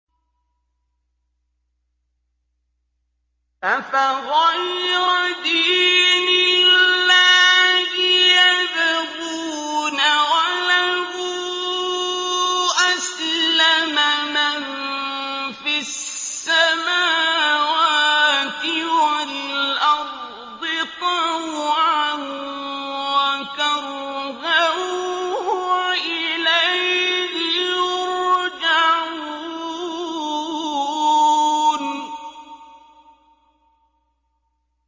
أَفَغَيْرَ دِينِ اللَّهِ يَبْغُونَ وَلَهُ أَسْلَمَ مَن فِي السَّمَاوَاتِ وَالْأَرْضِ طَوْعًا وَكَرْهًا وَإِلَيْهِ يُرْجَعُونَ